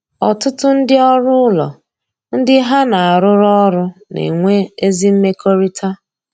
Ọtụtụ ndị ọrụ ụlọ ndị ha na arụ rụ ọrụ na-enwe ezi mmekọrịta